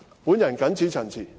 我謹此陳辭。